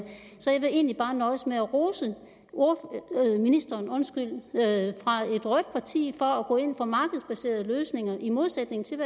så jeg vil egentlig bare nøjes med at rose ministeren fra et rødt parti for at gå ind for markedsbaserede løsninger i modsætning til